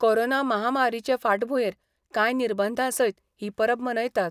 Corona महामारीचे फाटभुंयेर कांय निर्बंधा सयत ही परब मनयतात.